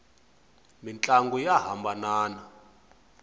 mintlangu ya hambanana